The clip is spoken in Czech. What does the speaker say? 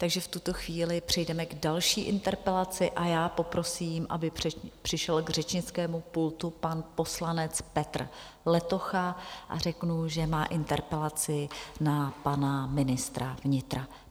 Takže v tuto chvíli přejdeme k další interpelaci a já poprosím, aby přišel k řečnickému pultu pan poslanec Petr Letocha, a řeknu, že má interpelaci na pana ministra vnitra.